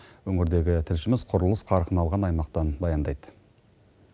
өңірдегі тілшіміз құрылыс қарқын алған аймақтан баяндайды